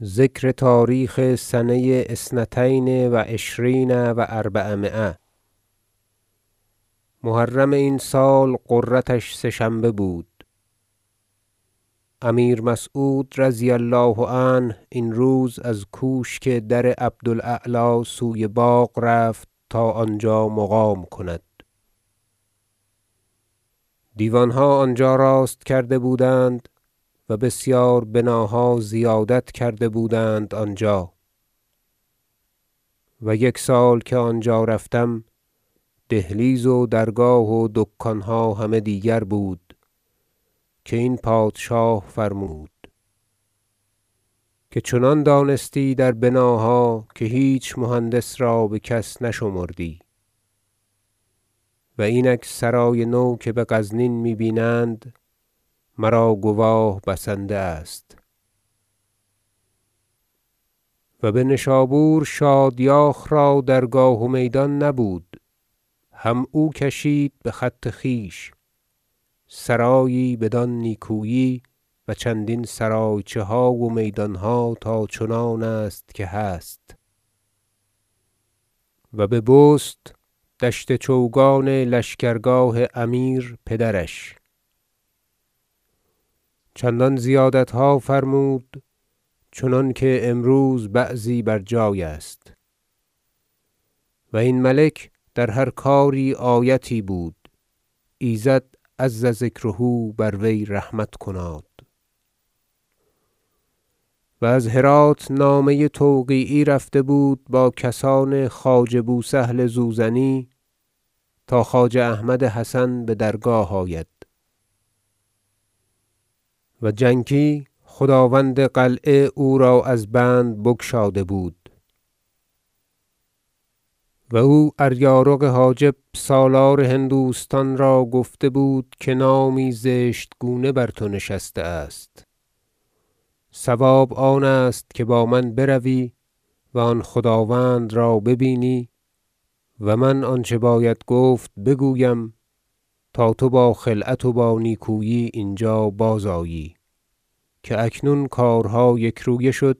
محرم این سال غرتش سه شنبه بود امیر مسعود رضی الله عنه این روز از کوشک در عبد الاعلی سوی باغ رفت تا آنجا مقام کند دیوانها آنجا راست کرده بودند و بسیار بناها زیادت کرده بودند آنجا و یک سال که آنجا رفتم دهلیز و درگاه و دکانها همه دیگر بود که این پادشاه فرمود که چنان دانستی در بناها که هیچ مهندس را بکس نشمردی و اینک سرای نو که بغزنین می بینند مرا گواه بسنده است و بنشابور شادیاخ را درگاه و میدان نبود هم او کشید بخط خویش سرایی بدان نیکویی و چندین سرایچه ها و میدانها تا چنان است که هست و به بست دشت چوگان لشکرگاه امیر پدرش چندان زیادتها فرمود چنانکه امروز بعضی بر جای است و این ملک در هر کاری آیتی بود ایزد عزذکره بر وی رحمت کناد و از هرات نامه توقیعی رفته بود با کسان خواجه بو سهل زوزنی تا خواجه احمد حسن بدرگاه آید و جنکی خداوند قلعه او را از بند بگشاده بود و او اریارق حاجب سالار هندوستان را گفته بود که نامی زشت گونه بر تو نشسته است صواب آن است که با من بروی و آن خداوند را ببینی و من آنچه باید گفت بگویم تا تو با خلعت و با نیکویی اینجا بازآیی که اکنون کارها یکرویه شد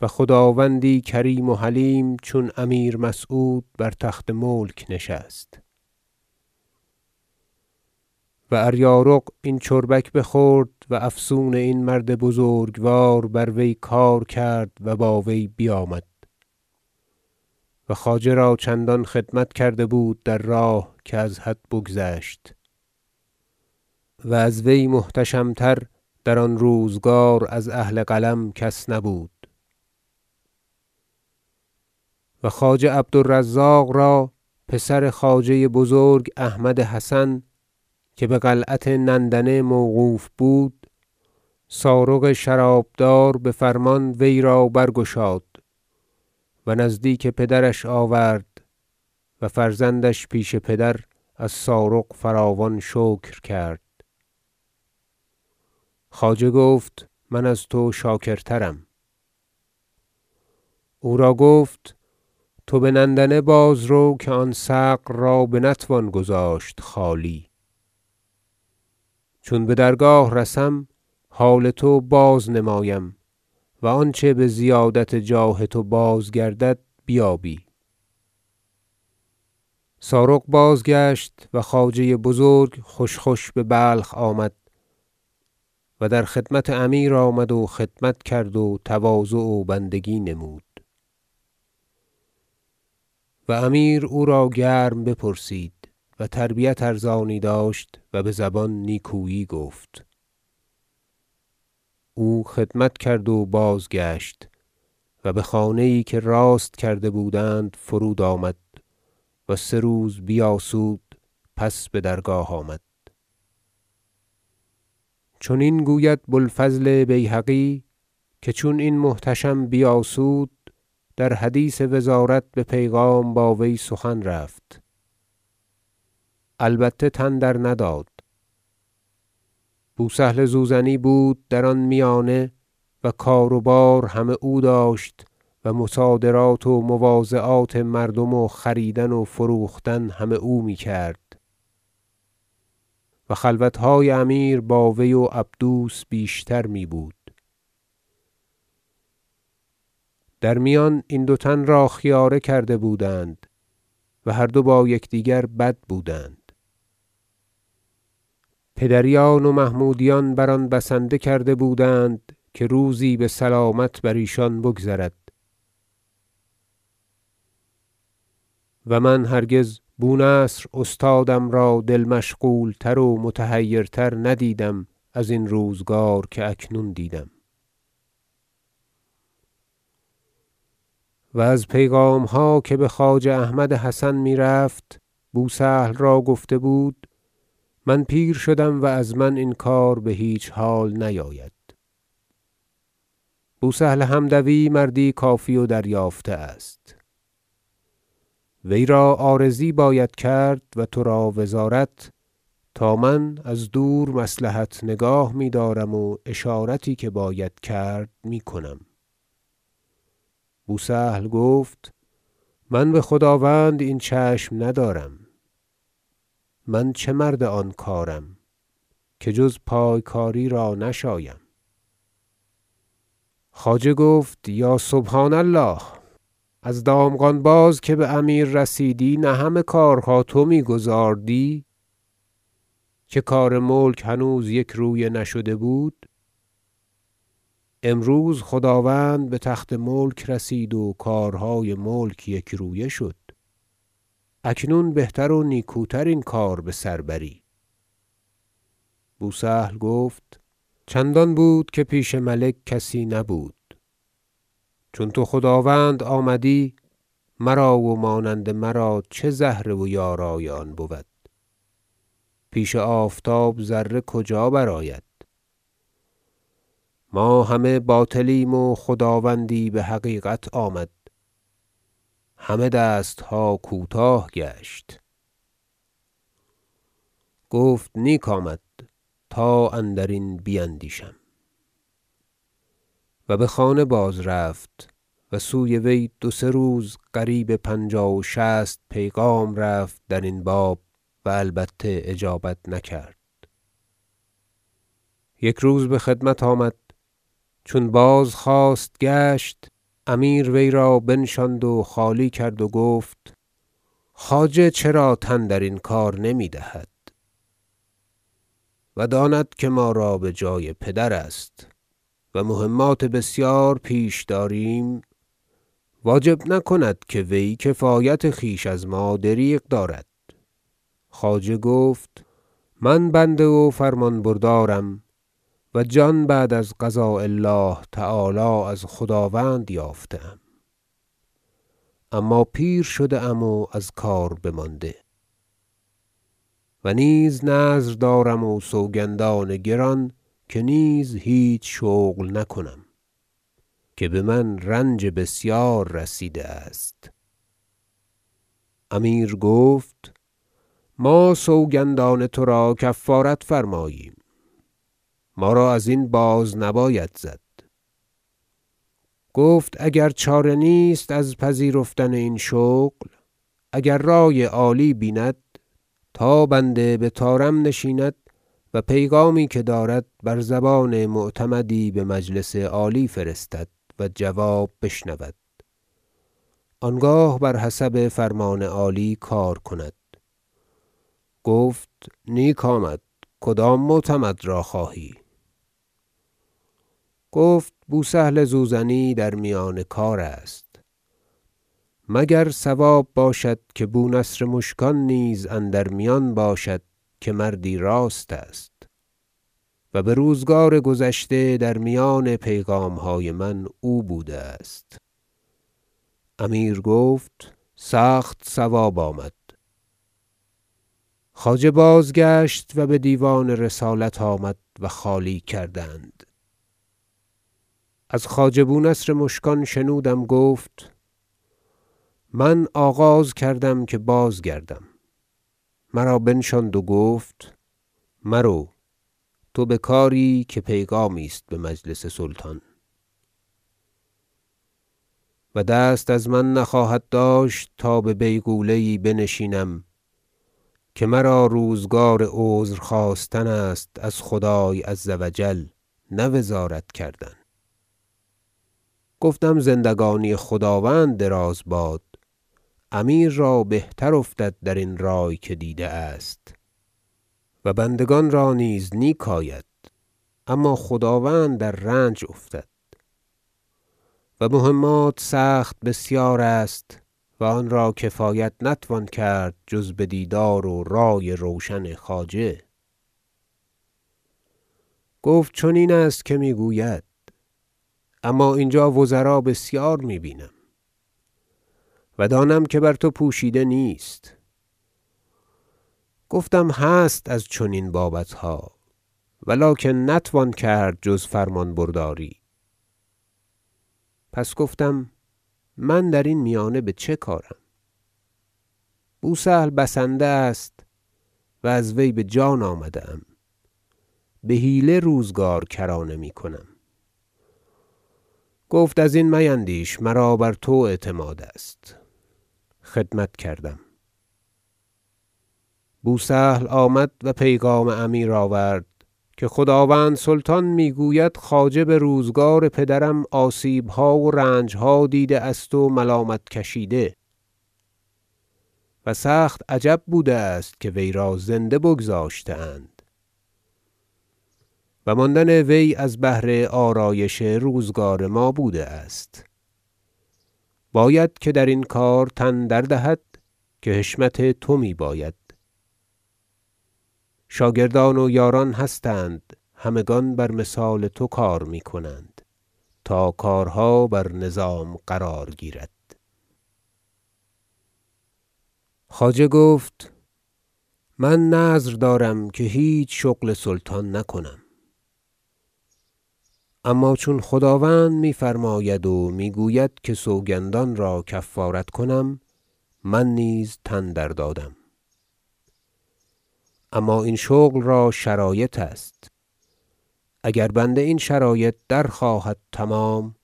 و خداوندی کریم و حلیم چون امیر مسعود بر تخت ملک نشست و اریارق این چربک بخورد و افسون این مرد بزرگوار بر وی کار کرد و با وی بیامد و خواجه را چندان خدمت کرده بود در راه که از حد بگذشت- و از وی محتشم تر در آن روزگار از اهل قلم کس نبود- و خواجه عبد الرزاق را پسر خواجه بزرگ احمد حسن- که بقلعت نندنه موقوف بود سارغ شراب دار بفرمان وی را برگشاد و نزدیک پدرش آورد و فرزندش پیش پدر از سارغ فراوان شکر کرد خواجه گفت من از تو شاکرترم او را گفت توبه نندنه بازرو که آن ثغر را بنتوان گذاشت خالی چون بدرگاه رسم حال تو بازنمایم و آنچه بزیادت جاه تو بازگردد بیابی سارغ بازگشت و خواجه بزرگ خوش خوش ببلخ آمد و در خدمت امیر آمد و خدمت کرد و تواضع و بندگی نمود و امیر او را گرم بپرسید و تربیت ارزانی داشت و بزبان نیکویی گفت او خدمت کرد و بازگشت و بخانه یی که راست کرده بودند فرود آمد و سه روز بیاسود پس بدرگاه آمد چنین گوید بو الفضل بیهقی که چون این محتشم بیاسود در حدیث وزارت به پیغام با وی سخن رفت البته تن درنداد بو سهل زوزنی بود در آن میانه و کار و بار همه او داشت و مصادرات و مواضعات مردم و خریدن و فروختن همه او میکرد و خلوتهای امیر با وی و عبدوس بیشتر می بود در میان این دو تن را خیاره کرده بودند و هر دو با یکدیگر بد بودند پدریان و محمودیان بر آن بسنده کرده بودند که روزی بسلامت بر ایشان بگذرد و من هرگز بو نصر استادم را دل مشغول تر و متحیرتر ندیدم ازین روزگار که اکنون دیدم و از پیغامها که بخواجه احمد حسن میرفت بو سهل را گفته بود من پیر شدم و از من این کار بهیچ حال نیاید بو سهل حمدوی مردی کافی و دریافته است وی را عارضی باید کرد و ترا وزارت تا من از دور مصلحت نگاه میدارم و اشارتی که باید کرد میکنم بو سهل گفت من بخداوند این چشم ندارم من چه مرد آن کارم که جز پایکاری را نشایم خواجه گفت یا سبحان الله از دامغان باز که بامیر رسیدی نه همه کارها تو میگزاردی که کار ملک هنوز یکرویه نشده بود امروز خداوند بتخت ملک رسید و کارهای ملک یکرویه شد اکنون بهتر و نیکوتر این کار بسر بری بو سهل گفت چندان بود که پیش ملک کسی نبود چون تو خداوند آمدی مرا و مانند مرا چه زهره و یارای آن بود پیش آفتاب ذره کجا برآید ما همه باطلیم و خداوندی بحقیقت آمد همه دستها کوتاه گشت گفت نیک آمد تا اندرین بیندیشم و بخانه بازرفت و سوی وی دو سه روز قریب پنجاه و شصت پیغام رفت درین باب و البته اجابت نکرد یک روز بخدمت آمد چون بازخواست گشت امیر وی را بنشاند و خالی کرد و گفت خواجه چرا تن درین کار نمیدهد و داند که ما را بجای پدر است و مهمات بسیار پیش داریم واجب نکند که وی کفایت خویش از ما دریغ دارد خواجه گفت من بنده و فرمانبردارم و جان بعد از قضاء الله تعالی از خداوند یافته ام اما پیر شده ام و از کار بمانده و نیز نذر دارم و سوگندان گران که نیز هیچ شغل نکنم که بمن رنج بسیار رسیده است امیر گفت ما سوگندان ترا کفارت فرماییم ما را ازین بازنباید زد گفت اگر چاره نیست از پذیرفتن این شغل اگر رأی عالی بیند تا بنده بطارم نشیند و پیغامی که دارد بر زبان معتمدی بمجلس عالی فرستد و جواب بشنود آنگاه بر حسب فرمان عالی کار کند گفت نیک آمد کدام معتمد را خواهی گفت بو سهل زوزنی در میان کار است مگر صواب باشد که بو نصر مشکان نیز اندر میان باشد که مردی راست است و بروزگار گذشته در میان پیغامهای من او بوده است امیر گفت سخت صواب آمد خواجه بازگشت و بدیوان رسالت آمد و خالی کردند از خواجه بو نصر مشکان شنودم گفت من آغاز کردم که بازگردم مرا بنشاند و گفت مرو تو بکاری که پیغامی است بمجلس سلطان و دست از من نخواهد داشت تا به بیغوله یی بنشینم که مرا روزگار عذر خواستن است از خدای عزوجل نه وزارت کردن گفتم زندگانی خداوند دراز باد امیر را بهتر افتد در این رأی که دیده است و بندگان را نیز نیک آید اما خداوند در رنج افتد و مهمات سخت بسیار است و آن را کفایت نتوان کرد جز بدیدار و رأی روشن خواجه گفت چنین است که میگوید اما اینجا وزرا بسیار می بینم و دانم که بر تو پوشیده نیست گفتم هست از چنین بابتها و لکن نتوان کرد جز فرمان برداری پس گفتم من درین میانه بچه کارم بو سهل بسنده است و از وی بجان آمده ام بحیله روزگار کرانه میکنم گفت ازین میندیش مرا بر تو اعتماد است خدمت کردم بو سهل آمد و پیغام امیر آورد که خداوند سلطان میگوید خواجه بروزگار پدرم آسیبها و رنجها دیده است و ملامت کشیده و سخت عجب بوده است که وی را زنده بگذاشته اند و ماندن وی از بهر آرایش روزگار ما بوده است باید که درین کار تن در دهد که حشمت تو می باید شاگردان و یاران هستند همگان بر مثال تو کار می کنند تا کارها بر نظام قرار گیرد خواجه گفت من نذر دارم که هیچ شغل سلطان نکنم اما چون خداوند میفرماید و میگوید که سوگندان را کفارت کنم من نیز تن دردادم اما این شغل را شرایط است اگر بنده این شرایط درخواهد تمام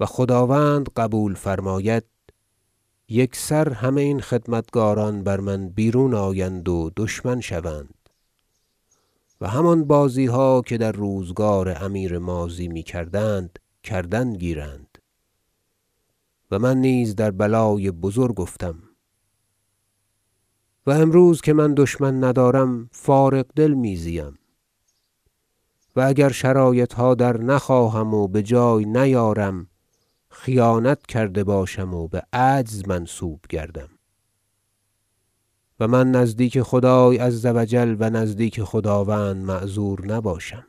و خداوند قبول فرماید یکسر همه این خدمتکاران بر من بیرون آیند و دشمن شوند و همان بازیها که در روزگار امیر ماضی میکردند کردن گیرند و من نیز در بلای بزرگ افتم و امروز که من دشمن ندارم فارغ دل می زیم و اگر شرایطها در نخواهم و بجای نیارم خیانت کرده باشم و بعجز منسوب گردم و من نزدیک خدای عزوجل و نزدیک خداوند معذور نباشم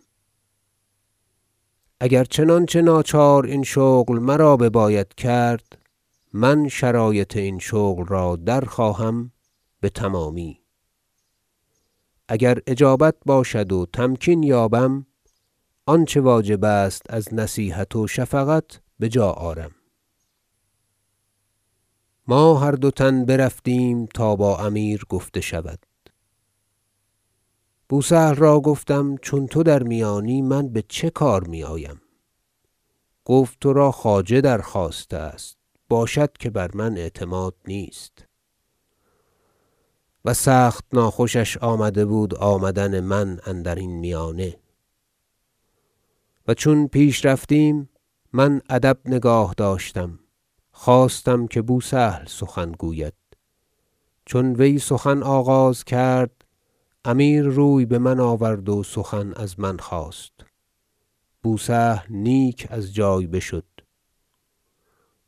اگر چنانچه ناچار این شغل مرا بباید کرد من شرایط این شغل را درخواهم بتمامی اگر اجابت باشد و تمکین یابم آنچه واجب است از نصیحت و شفقت بجا آرم ما هر دو تن برفتیم تا با امیر گفته شود بو سهل را گفتم چون تو در میانی من بچه کار میآیم گفت ترا خواجه درخواسته است باشد که بر من اعتماد نیست و سخت ناخوشش آمده بود آمدن من اندرین میانه و چون پیش رفتیم من ادب نگاه داشتم خواستم که بو سهل سخن گوید چون وی سخن آغاز کرد امیر روی بمن آورد و سخن از من خواست بو سهل نیک از جای بشد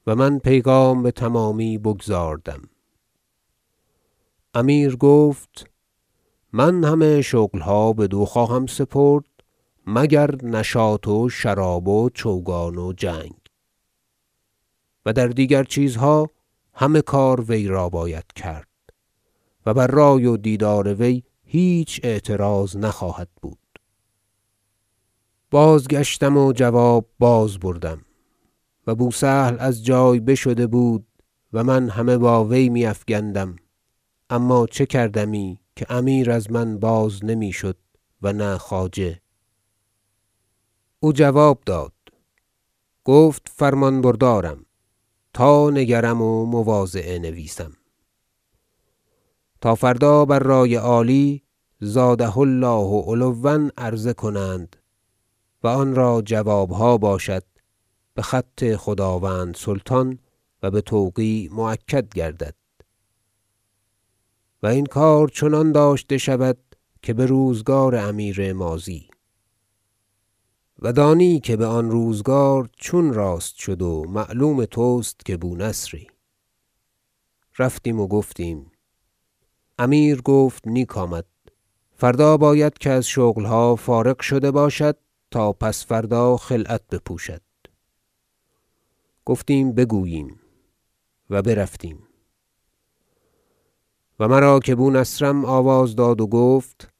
و من پیغام بتمامی بگزاردم امیر گفت من همه شغلها بدو خواهم سپرد مگر نشاط و شراب و چوگان و جنگ و در دیگر چیزها همه کار وی را باید کرد و بر رأی و دیدار وی هیچ اعتراض نخواهد بود بازگشتم و جواب بازبردم و بو سهل از جای بشده بود و من همه با وی می افگندم اما چه کردمی که امیر از من باز نمی شد و نه خواجه او جواب داد گفت فرمان بردارم تا نگرم و مواضعه نویسم تا فردا بر رأی عالی زاده الله علوأ عرضه کنند و آن را جوابها باشد بخط خداوند سلطان و بتوقیع مؤکد گردد و این کار چنان داشته شود که بروزگار امیر ماضی و دانی که بآن روزگار چون راست شد و معلوم تست که بو نصری رفتیم و گفتیم امیر گفت نیک آمد فردا باید که از شغلها فارغ شده باشد تا پس فردا خلعت بپوشد گفتیم بگوییم و برفتیم و مرا که بو نصرم آواز داد و گفت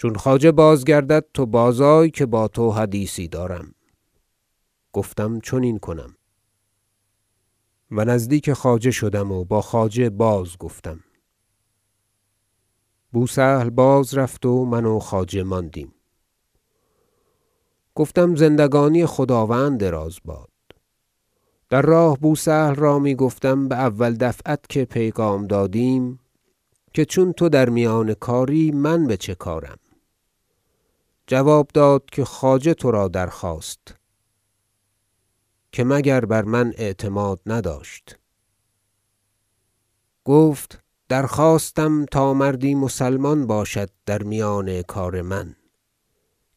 چون خواجه بازگردد تو باز آی که بر تو حدیثی دارم گفتم چنین کنم و نزدیک خواجه شدم و با خواجه بازگفتم بو سهل باز رفت و من و خواجه ماندیم گفتم زندگانی خداوند دراز باد در راه بو سهل را می گفتم باول دفعت که پیغام دادیم که چون تو در میان کاری من بچه کارم جواب داد که خواجه ترا درخواست که مگر بر من اعتماد نداشت گفت درخواستم تا مردی مسلمان باشد در میان کار من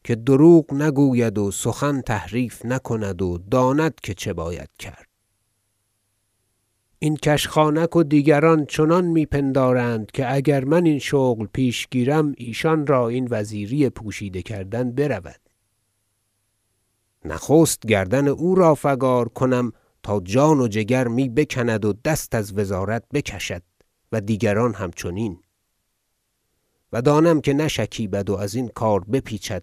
که دروغ نگوید و سخن تحریف نکند و داند که چه باید کرد این کشخانک و دیگران چنان می پندارند که اگر من این شغل پیش گیرم ایشان را این وزیری پوشیده کردن برود نخست گردن او را فگار کنم تا جان و جگر می بکند و دست از وزارت بکشد و دیگران همچنین و دانم که نشکیبد و ازین کار بپیچد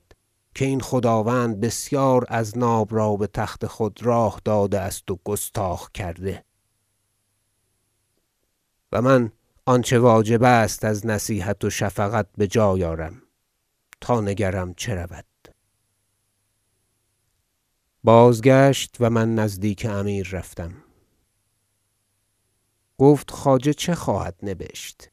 که این خداوند بسیار اذناب را بتخت خود راه داده است و گستاخ کرده و من آنچه واجب است از نصیحت و شفقت بجای آرم تا نگرم چه رود بازگشت و من نزدیک امیر رفتم گفت خواجه چه خواهد نبشت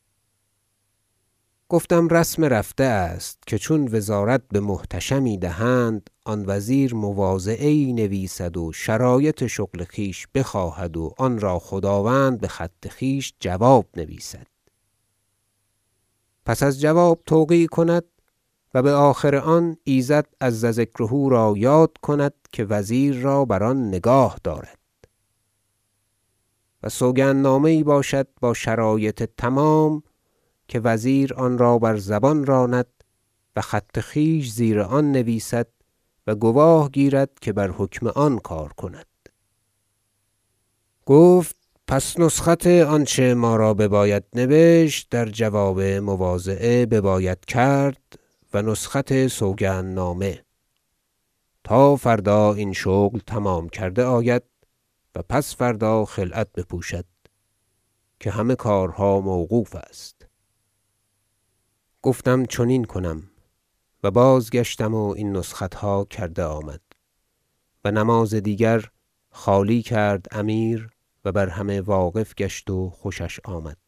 گفتم رسم رفته است که چون وزارت بمحتشمی دهند آن وزیر مواضعه یی نویسد و شرایط شغل خویش بخواهد و آن را خداوند بخط خویش جواب نویسد پس از جواب توقیع کند و بآخر آن ایزد عزذکره را یاد کند که وزیر را بر آن نگاه دارد و سوگندنامه یی باشد با شرایط تمام که وزیر آن را بر زبان راند و خط خویش زیر آن نویسد و گواه گیرد که بر حکم آن کار کند گفت پس نسخت آنچه ما را بباید نبشت در جواب مواضعه بباید کرد و نسخت سوگند نامه تا فردا این شغل تمام کرده آید و پس فردا خلعت بپوشد که همه کارها موقوف است گفتم چنین کنم و بازگشتم و این نسختها کرده آمد و نماز دیگر خالی کرد امیر و بر همه واقف گشت و خوشش آمد